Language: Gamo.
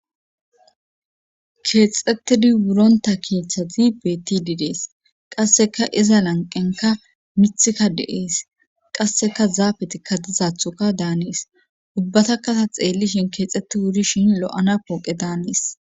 keexetidi wuronta keeththati bettid detes qasseka iza lanqenka mithika de7ees qasseka zaabetikka dizathuka daanees ubbatakata xeellishin keexxetti wuri shin lo7ana pooqe daanees